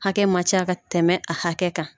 Hakɛ man ca ka tɛmɛ a hakɛ kan.